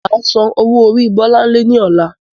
Máa sán owó orí bọlánlẹ́ ni ọ̀la